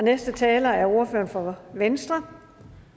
næste taler er ordføreren for venstre